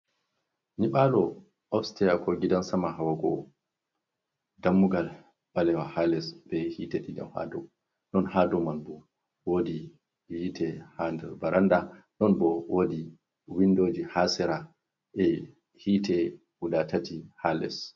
Nyiɓalo ofteya ko gidan Sama hawa go'o. Dammugal ɓalewa ha less be hite ha dou, non ha dou manbo wodi hite ha baranda. Nonbo woodi windoji ha Sera e hite guda tati ha less.